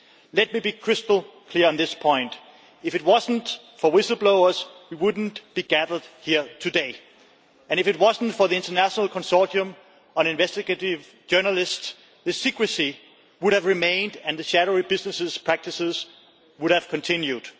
Let me be crystal clear on this point if it was not for whistleblowers, we would not be gathered here today, and if it was not for the International Consortium of Investigative Journalists, the secrecy would have remained and the shadowy business practices would have continued.